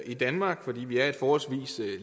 i danmark fordi vi er et forholdsvis